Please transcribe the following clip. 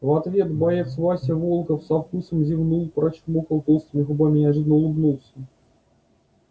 в ответ боец вася волков со вкусом зевнул прочмокал толстыми губами и ожиданно улыбнулся